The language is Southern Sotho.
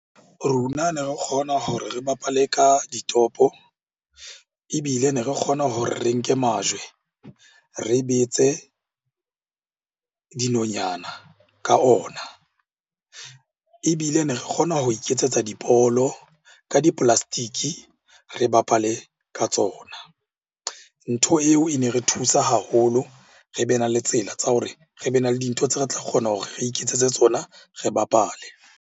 Rona ne re kgona hore re bapale ka ditopo ebile ne re kgona hore re nke majwe re betse dinonyana ka ona. Ebile ne re kgona ho iketsetsa dibolo ka di-plastic-e, re bapale ka tsona. Ntho eo e ne re thusa haholo re be na le tsela tsa hore re be na le dintho tseo re tla kgona hore re iketsetse tsona, re bapale.